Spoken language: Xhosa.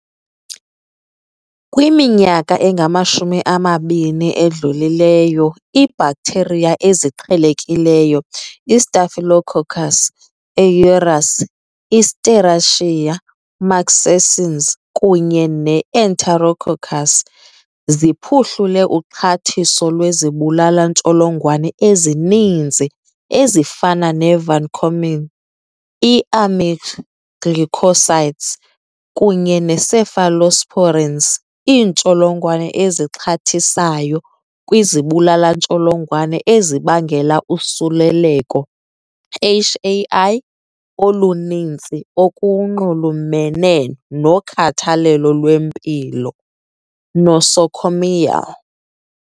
Kwiminyaka engama-20 edlulileyo, iibhaktheriya eziqhelekileyo iStaphylococcus aureus, iSerratia marcescens kunye neEnterococcus ziphuhlule uxhathiso lwezibulala-ntsholongwane ezininzi ezifana ne-vancomcyn, i-aminoglycosides kunye ne-cephalosporins. Iintsholongwane ezixhathisayo kwizibulala-ntsholongwane zibangela usuleleko, HAI, oluninzi okunxulumene nokhathalelo lwempilo, nosocomial.